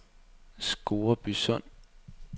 Scoresbysund